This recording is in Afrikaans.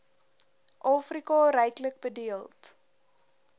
afrika ryklik bedeeld